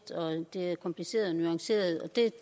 sted er